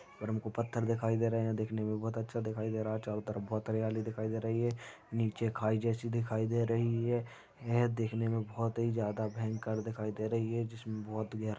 इधर हमको पत्थर दिखाई दे रहे हैं देखने मे बहौत अच्छा दिखाई दे रहा है चारों तरफ बहौत हरियाली दिखाई दे रही है नीचे खाई जैसी दिखाई दे रही है यह देखने मे बहौत ही जादा भयंकर दिखाई दे रही है जिसमे बहौत ग --